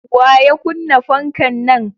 Waya kunna fankan nan?